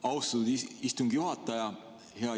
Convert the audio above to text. Austatud istungi juhataja!